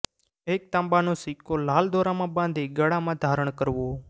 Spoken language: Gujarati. એક તાંબાનો સિક્કો લાલ દોરામાં બાંધી ગળામાં ધારણ કરવો